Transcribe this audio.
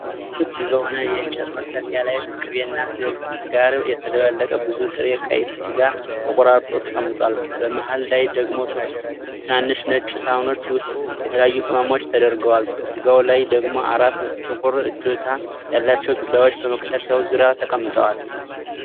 ክብ በሆነ የእንጨት መክተፊያ ላይ ከቅቤና ስብ ጋር የተደባለቀ ብዙ ጥሬ ቀይ ስጋ ተቆራርጦ ተቀምጧል። በመሃል ላይ ደግሞ ሶስት ትናንሽ ነጭ ሳህኖች ውስጥ የተለያዩ ቅመሞች ተደርድረዋል። በስጋው ላይ ደግሞ አራት ጥቁር እጀታ ያላቸው ቢላዎች በመክተፊያው ዙሪያ ተቀምጠዋል።